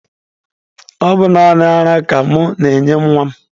Ọ bụ naanị ara ka mụ na-enye nwa m.